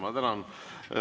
Ma tänan.